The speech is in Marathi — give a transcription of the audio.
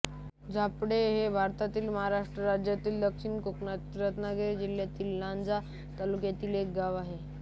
झापडे हे भारतातील महाराष्ट्र राज्यातील दक्षिण कोकणातील रत्नागिरी जिल्ह्यातील लांजा तालुक्यातील एक गाव आहे